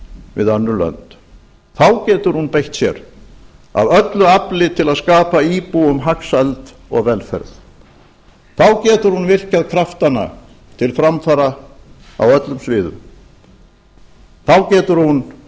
við önnur lönd þá getur hún beitt sér af öllu afli til að skapa íbúum hagsæld og velferð þá getur hún virkjað kraftana til framfara á öllum sviðum þá getur hún